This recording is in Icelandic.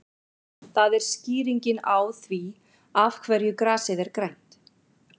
Það er skýringin á því af hverju grasið er grænt.